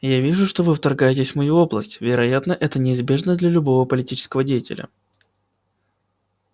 я вижу что вы вторгаетесь в мою область вероятно это неизбежно для любого политического деятеля